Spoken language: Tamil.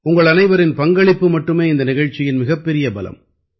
உங்களனைவரின் பங்களிப்பு மட்டுமே இந்த நிகழ்ச்சியின் மிகப்பெரிய பலம்